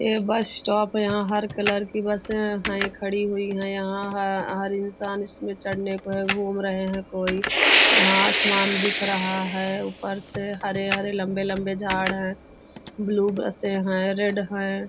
यह bus stop है यहाँ हर कलर कीबस है खड़ी हुई है यहाँ हर इंसान इसमें चढने को घुम रहे है कोई यहाँ आसमान दिख रहा है ऊपर से हरे हरे लम्बे लम्बे झाड़ है ब्लू बसे है रेड है।